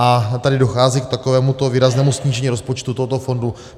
A tady dochází k takovémuto výraznému snížení rozpočtu tohoto fondu.